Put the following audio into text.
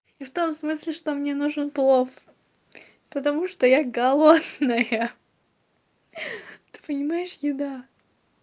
и в том смысле что мне нужен плов потому что я голодная ты понимаешь еда